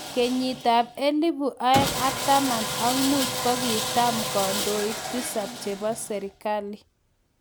Kenyitap elput aeng ak taman ak mut, kigitam kandoik tisap chepo serigali